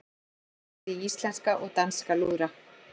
Blásið í íslenska og danska lúðra